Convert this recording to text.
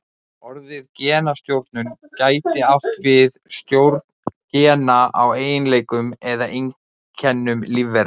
Orðið genastjórnun gæti átt við stjórn gena á eiginleikum eða einkennum lífvera.